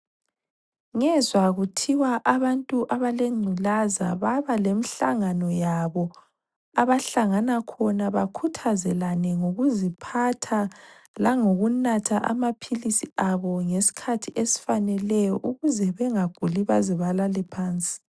Ngezwa kuthiwa abantu abalengculaza baba lemihlangano yabo abahlangana khona bakhuthazelane ngokuziphatha langokunatha amaphilisi abo ngesikhathi esifaneleyo ukuze bengaguli baze balale phansi.